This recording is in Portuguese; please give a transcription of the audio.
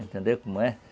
Entendeu como é?